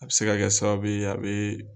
A bɛ se ka kɛ sababu ye a bɛ